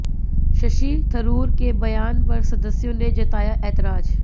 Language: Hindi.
शशि थरूर के बयान पर सदस्य़ों ने जताया ऐतराज